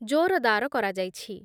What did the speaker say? ଜୋରଦାର କରାଯାଇଛି ।